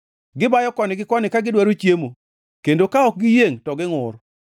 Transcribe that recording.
Gibayo koni gi koni ka gidwaro chiemo kendo ka ok giyiengʼ to gingʼur.